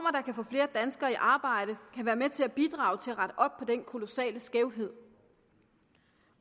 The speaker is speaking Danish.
kan få flere danskere i arbejde kan være med til at bidrage til at rette op på den kolossale skævhed